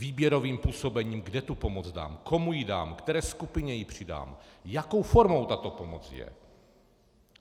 Výběrovým působením, kde tu pomoc dám, komu ji dám, které skupině ji přidám, jakou formou tato pomoc je.